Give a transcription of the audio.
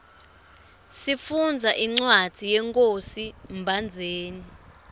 sifundza incwadzi yenkhosi mbhandzeni